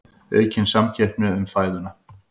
Aukin samkeppni um fæðuna